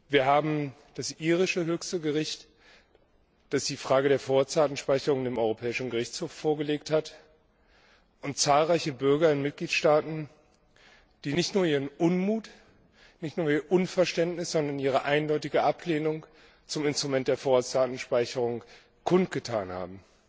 Wir haben das irische höchste Gericht, das die Frage der Vorratsdatenspeicherung dem Europäischen Gerichtshof vorgelegt hat, und zahlreiche Bürger in Mitgliedstaaten, die nicht nur ihren Unmut und ihr Unverständnis, sondern ihre eindeutige Ablehnung zum Instrument der Vorratsdatenspeicherung kundgetan haben.